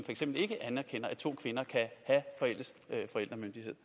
eksempel ikke anerkender at to kvinder kan have fælles forældremyndighed